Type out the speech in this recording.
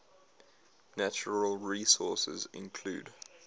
natural resources include